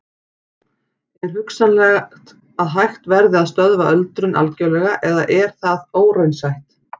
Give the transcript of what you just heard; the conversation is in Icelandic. Er hugsanlegt að hægt verði að stöðva öldrun algjörlega eða er það óraunsætt?